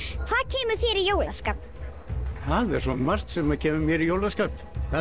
hvað kemur þér í jólaskap það er svo margt sem kemur mér í jólaskap